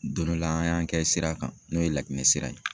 Don dɔ la ,an y'a kɛ sira kan, n'o ye Laginɛ sira ye.